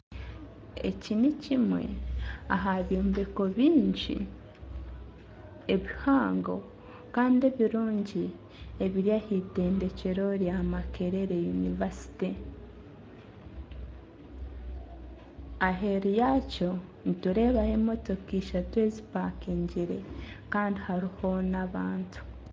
Eki nikimwe aha byombeko bingi ebihango kandi ebirungi ebiri aha itendekyero rya yunivasite aheeru yaakyo nitureebaho emotoka eishatu ezipakingire kandi hariho n'abandi bantu